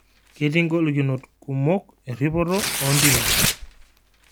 Ketii ngolikinoto kumok erripoto oo ntimi